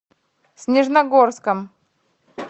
снежногорском